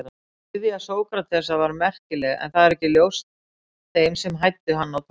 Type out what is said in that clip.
Iðja Sókratesar var merkileg en það var ekki ljóst þeim sem hæddu hann á torgum.